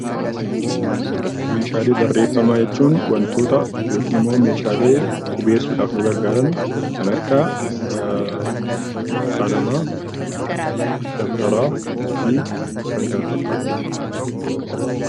Meeshaalee barreefamaa jechuun wantoota yookaan immoo meeshaalee qubeessuuf nu gargaaran kan akka qalamaa, dabtaraa fi kan kana fakkaatanidha.